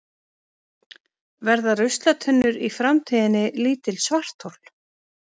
Verða ruslatunnur í framtíðinni lítil svarthol?